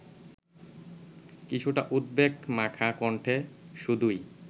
কিছুটা উদ্বেগমাখা কণ্ঠে শুধোয়